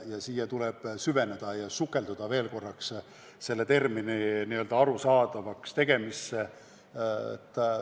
Tuleb sellesse süveneda ja sukelduda veel korraks selle termini arusaadavaks tegemisse.